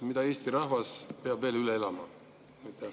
Mida Eesti rahvas peab veel üle elama?